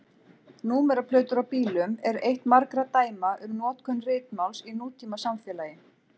Númeraplötur á bílum eru eitt margra dæma um notkun ritmáls í nútímasamfélagi.